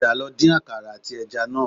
Padà lọ din àkàrà àti ẹja náà